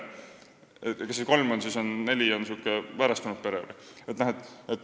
Kas kolm ja neli last tähendab siis väärastunud peret?